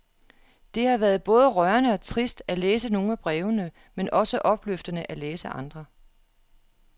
Det har været både rørende og trist at læse nogle af brevene, men også opløftende at læse andre.